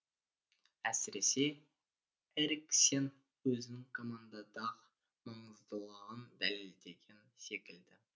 әсіресе эриксен өзінің командадағы маңыздылығын дәлелдеген секілді